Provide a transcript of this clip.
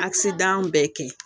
bɛɛ kɛ